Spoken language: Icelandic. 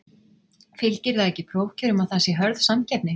Fylgir það ekki prófkjörum að það sé hörð samkeppni?